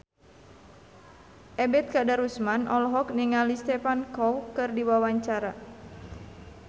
Ebet Kadarusman olohok ningali Stephen Chow keur diwawancara